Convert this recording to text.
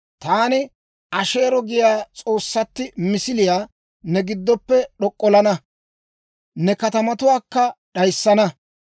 Taani Asheero giyaa s'oossatti misiliyaa ne giddoppe d'ok'ollana; ne katamatuwaakka d'ayissana.